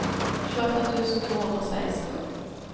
tjueåtte tusen to hundre og seksten